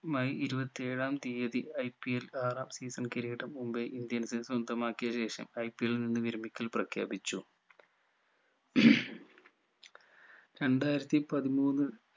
May ഇരുപത്തി ഏഴാം തിയതി IPL ആറാം season കിരീടം മുംബൈ indians സ്വന്തമാക്കിയ ശേഷം IPL ൽ നിന്ന് വിരമിക്കൽ പ്രഖ്യാപിച്ചു രണ്ടായിരത്തി പതിമൂന്ന്